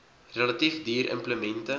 relatief duur implemente